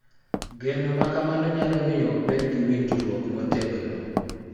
Geno ma kamano nyalo miyo obed gi winjruok motegno .